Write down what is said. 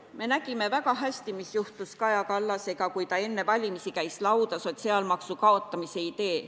Me nägime väga hästi, mis juhtus Kaja Kallasega, kui ta enne valimisi käis välja sotsiaalmaksu kaotamise idee.